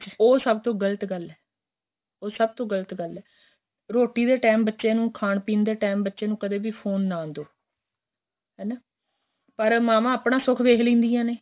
ਉਹ ਸਭ ਤੋ ਗ਼ਲਤ ਗੱਲ ਏ ਉਹ ਸਭ ਤੋ ਗ਼ਲਤ ਗੱਲ ਏ ਰੋਟੀ ਦੇ time ਬੱਚੇ ਨੂੰ ਖਾਣ ਪੀਣ ਦੇ time ਬੱਚੇ ਨੂੰ ਕਦੀਂ ਫੋਨ ਨਾ ਦਹੋ ਹੈਨਾ ਪਰ ਮਾਵਾਂ ਆਪਣਾ ਸੁਖ ਵੇਖ ਲੈਂਦਿਆ ਨੇ